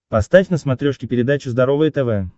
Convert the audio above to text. поставь на смотрешке передачу здоровое тв